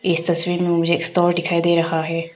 इस तस्वीर में मुझे एक स्टोर दिखाई दे रहा है।